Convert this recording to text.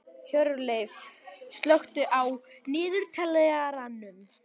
Hjörleif, slökktu á niðurteljaranum.